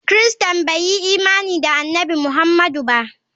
Christains bai yi imani da Annabi Muhammadu ba.